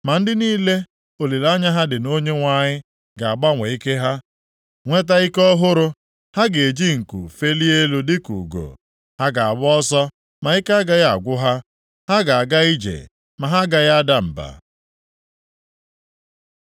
ma ndị niile olileanya ha dị na Onyenwe anyị, ga-agbanwe ike ha, nweta ike ọhụrụ. Ha ga-eji nku felie elu dịka ugo. Ha ga-agba ọsọ, ma ike agaghị agwụ ha; ha ga-aga ije ma ha agaghị ada mba.